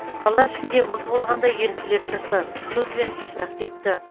қала ішінде мұз болғанда еріктілер шықты тұз бен топырақ септі